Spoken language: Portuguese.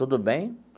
Tudo bem?